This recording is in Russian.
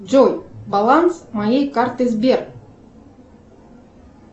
джой баланс моей карты сбер